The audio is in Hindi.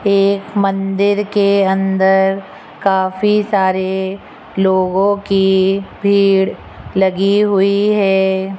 एक मंदिर के अंदर काफी सारे लोगों की भीड़ लगी हुई है।